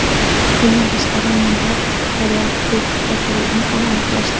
Bundan tashqari, menda poliartrit kasalligini ham aniqlashdi.